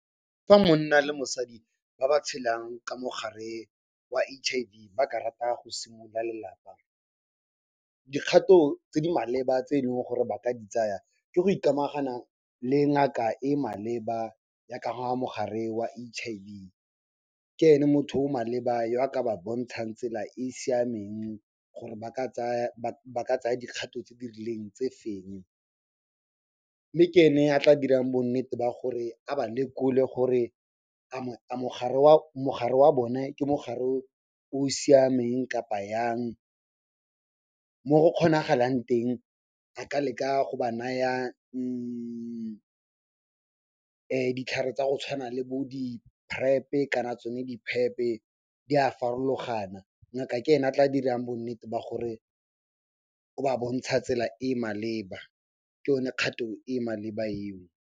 Fa monna le mosadi ba ba tshelang ka mogare wa H_I_V ba ka rata go simolola lelapa, dikgato tse di maleba tse e leng gore ba ka di tsaya ke go ikamagana le ngaka e maleba ya ka ga mogare wa H_I_V. Ke ene motho o o maleba yo a ka ba bontshang tsela e e siameng gore ba ka tsaya dikgatho tse di rileng tse feng, mme ke ene a tla dirang bonnete ba gore a ba lekole gore a mogare wa bone ke mogare o o siameng kapa jang. Mo go kgonagalang teng a ka leka go ba naya ditlhare tsa go tshwana le bo di PrEP-e kana tsone di PEP-e, di a farologana. Ngaka ke ene a tla dirang bonnete ba gore o ba bontsha tsela e e maleba, ke yone kgato e maleba eo.